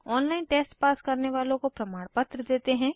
online test pass करने वालों को प्रमाणपत्र देते हैं